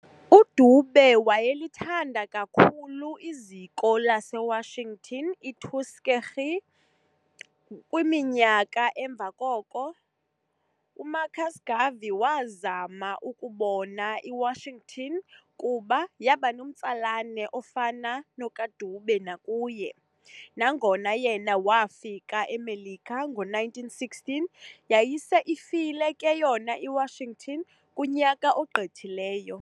UDube wayethanda kakhulu liziko lase Washington iTuskegee, kwiminyaka emva koko, uMarcus Garvey waazama ukubona i-Washington kuba yabanomtsalane ofana nokaDube nakuye, ngangona yena waafika eMelika ngo-1916, yayise ifile ke yona iWashington kunyaka ogqithileyo.